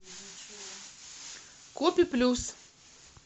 копи плюс